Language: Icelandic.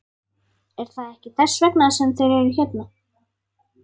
Er það ekki þess vegna sem þeir eru hérna?